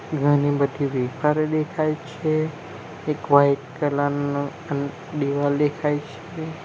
ઘણી બધી વેફર દેખાય છે એક વાઈટ કલર નુ અન દિવાલ દેખાય છે.